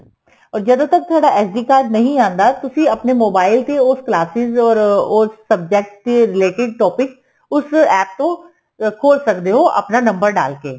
or ਜਦੋ ਤੱਕ ਤੁਹਾਡਾ SDcard ਨਹੀਂ ਆਂਦਾ ਤੁਸੀਂ ਆਪਣੇ mobile ਤੇ ਉਹ classes or ਉਸ subject ਦੇ retaliated topic ਉਸ APP ਤੋਂ ਖੋਲ ਸਕਦੇ ਓ ਆਪਣਾ number ਡਾਲ ਕੇ